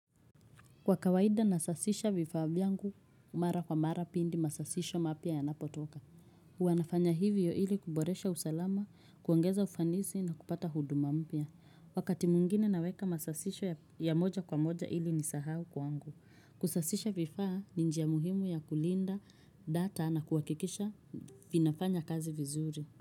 Kwa kawaida nasasisha vifaa vyangu, mara kwa mara pindi masasisho mapya ya napotoka. Hua nafanya hivyo ili kuboresha usalama, kuongeza ufanisi na kupata huduma mpya. Wakati mwngine naweka masasisho ya moja kwa moja ili ni sahau kwa angu. Kusasisha vifaa ni njia muhimu ya kulinda data na kuhakikisha vinafanya kazi vizuri.